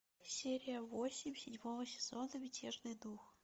серия восемь седьмого сезона мятежный дух